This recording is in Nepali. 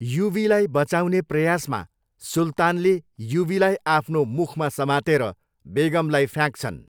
युवीलाई बचाउने प्रयासमा, सुल्तानले युवीलाई आफ्नो मुखमा समातेर बेगमलाई फ्याँक्छन्।